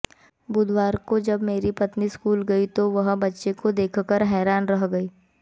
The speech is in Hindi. बुधवार को जब मेरी पत्नी स्कूल गई तो वह बच्चे को देखकर हैरान रह गई